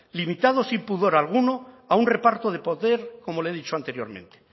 limitado sin pudor alguno a un reparto de poder como le he dicho anteriormente